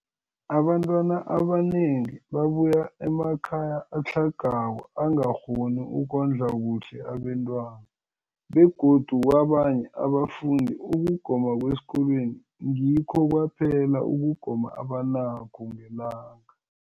Abantwana abanengi babuya emakhaya atlhagako angakghoni ukondla kuhle abentwana, begodu kabanye abafundi, ukugoma kwesikolweni ngikho kwaphela ukugoma abanakho ngelanga.